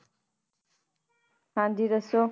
ਹਾਂਜੀ ਦੱਸੋ।